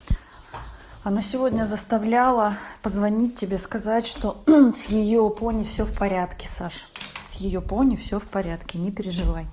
она сегодня заставляла позвонить тебе сказать что с её пони всё в порядке саша с её пони все в порядке не переживай